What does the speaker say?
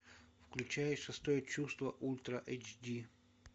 включай шестое чувство ультра эйч ди